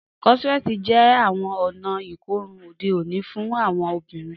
Crotchet jẹ awọn ọna ikorun ode oni fun awọn ọbinrin.